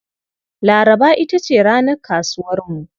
Laraba ita ce ranar kasuwarmu.